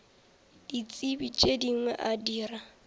ditsebi tše dingwe a dira